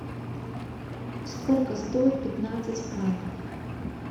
сколько стоит пятнадцать франков